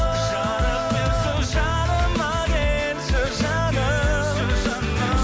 жарық берші жаныма келші жаным